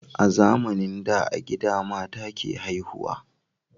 A zamanin da a gida mata ke haihuwa